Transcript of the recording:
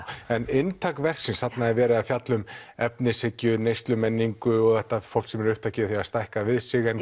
en inntak verksins þarna er verið um efnishyggju neyslumenningu fólk sem er upptekið af að stækka við sig en